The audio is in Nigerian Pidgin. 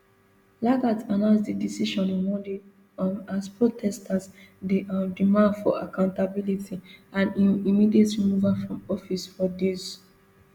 lagat announce di decision on monday um as protesters dey um demand for accountability and im immediate removal from office for days